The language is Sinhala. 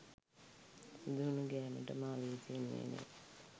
සුදු හුනු ගෑමට මා වෙහෙසෙන්නේ නැහැ